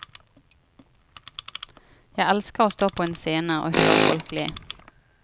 Jeg elsker å stå på en scene og høre folk le.